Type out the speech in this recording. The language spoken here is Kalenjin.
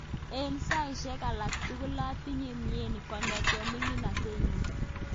Eng saishek alak tugul atinye mnyeni kongetkei miningatet nyu.